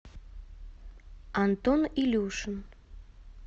антон илюшин